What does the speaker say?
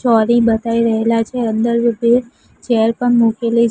બતાઈ રહેલા છે અંદર ચેર પણ મૂકેલી.